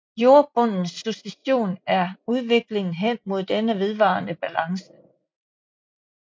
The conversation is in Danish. Jordbundens succession er udviklingen hen mod denne vedvarende balance